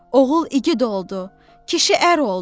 Oğul igid oldu, kişi ər oldu.